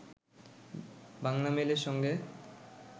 বাংলামেইলের সঙ্গে